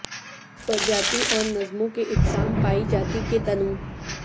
پرجاتی اور نظموں کے اقسام پائی جاتی کے تنوع